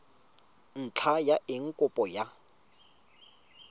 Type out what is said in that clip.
ntlha ya eng kopo ya